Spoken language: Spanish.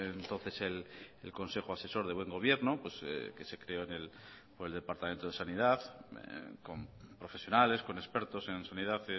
entonces el consejo asesor del buen gobierno pues que se creo por del departamento de sanidad con profesionales con expertos en sanidad